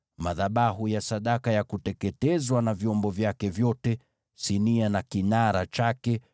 madhabahu ya sadaka ya kuteketezwa na vyombo vyake vyote, sinia na kinara chake,